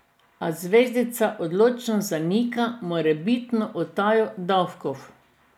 A zvezdnica odločno zanika morebitno utajo davkov.